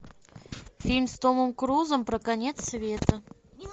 фильм с томом крузом про конец света